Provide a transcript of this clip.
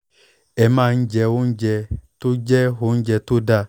ẹ máa jẹ́ oúnjẹ tó ń jẹ́ oúnjẹ tó dáa